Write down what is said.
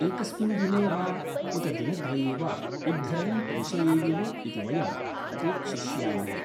एकस्मिन् दिने वा उत दिनद्वये वा उद्धरणं प्रेषयेयुः इति वयम् अपेक्षिष्यामहे।